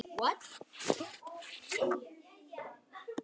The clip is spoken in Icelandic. Meira að segja gagn.